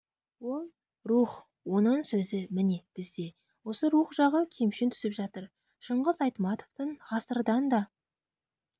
ол рух оның сөзі міне бізде осы рух жағы кемшін түсіп жатыр шыңғыс айтматовтың ғасырдан да